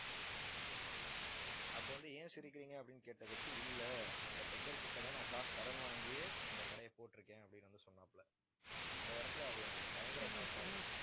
அப்ப வந்து, ஏன் சிரிக்கிறீங்க அப்படின்னு கேட்டதுக்கு, இல்லை அந்த beggar கிட்டதான் நான் காசு கடன் வாங்கியே இந்த கடையை போட்டிருக்கேன் அப்படின்னு வந்து சொன்னாப்புல அந்த இடத்துல அது எனக்கு ஒரு பயங்கர shock ஆ இருந்துச்சு